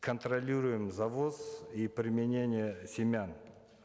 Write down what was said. контролируем завоз и применение семян